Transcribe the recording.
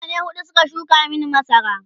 mutane huɗu Suka shuka Mani masara